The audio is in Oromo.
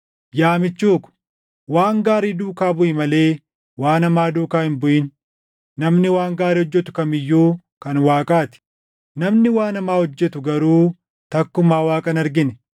Yaa michuu ko, waan gaarii duukaa buʼi malee waan hamaa duukaa hin buʼin. Namni waan gaarii hojjetu kam iyyuu kan Waaqaa ti. Namni waan hamaa hojjetu garuu takkumaa Waaqa hin argine.